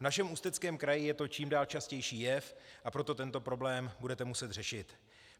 V našem Ústeckém kraji je to čím dál častější jev, a proto tento problém budete muset řešit.